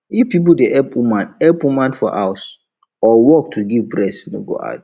if people dey help woman help woman for house or work to give breast no go hard her